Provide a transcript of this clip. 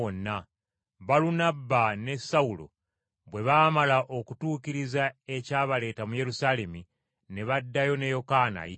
Balunabba ne Sawulo bwe baamala okutuukiriza ekyabaleeta mu Yerusaalemi, ne baddayo ne Yokaana ayitibwa Makko.